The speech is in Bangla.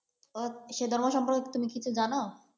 আহ সে ধর্ম সম্পর্কে তুমি কিছু জানো?